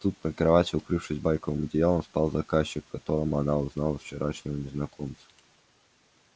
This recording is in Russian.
тут на кровати укрывшись байковым одеялом спал заказчик в котором она узнала вчерашнего незнакомца